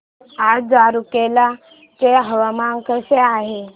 आज रूरकेला चे हवामान कसे आहे